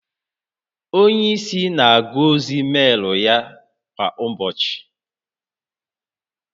Onye isi na-agụ ozi meelu ya kwa ụbọchị